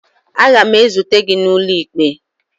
Aga m ezute gị n'ụlọ ikpe